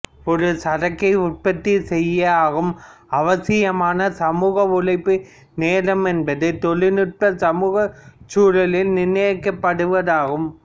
ஒரு சரக்கை உற்பத்தி செய்ய ஆகும் அவசியமான சமூக உழைப்பு நேரம் என்பது தொழில்நுட்ப சமூகச் சூழலால் நிர்ணயிக்கப்படுவதாகும்